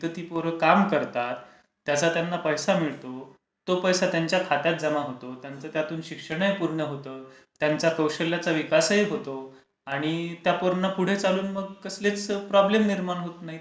तिथे ती पोरं काम करतात. त्याचा त्यांना पैसा मिळतो, तो पैसा त्यांच्या खात्यात जमा होतो. त्यांचा त्यातून शिक्षणही पूर्ण होतं. त्यांच्या कौशल्याचा विकासही होतो. आणि ते पूर्ण पुढे चालू मग कसले प्रॉब्लेम निर्माण होत नाहीत.